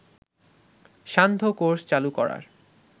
সান্ধ্য কোর্স চালু করার